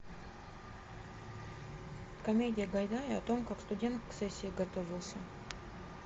комедия гайдая о том как студент к сессии готовился